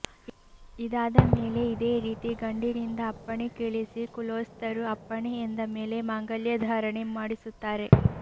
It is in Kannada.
ಇದಾದ ಮೇಲೆ ಇದೇ ರೀತಿ ಗಂಡಿನಿಂದ ಅಪ್ಪಣೆ ಕೇಳಿಸಿ ಕುಲೊಸ್ಥರು ಅಪ್ಪಣೆ ಎಂದ ಮೇಲೆ ಮಾಂಗಲ್ಯ ಧಾರಣೆ ಮಾಡಿಸುತ್ತಾರೆ